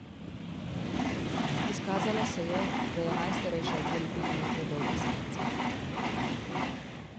Izkazalo se je, da je najstarejša okoli pet metrov dolga samica.